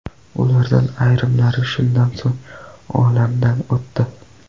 Ulardan ayrimlari shundan so‘ng olamdan o‘tdi.